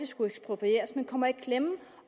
skulle eksproprieres men som kommer i klemme